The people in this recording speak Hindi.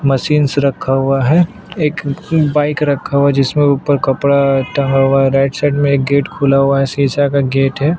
मशीन सा रखा हुआ है एक बाइक रखा हुआ है जिसमें ऊपर कपडा टंगा हुआ है राईट साइड में एक गेट खुला हुआ है शीशा का गेट है।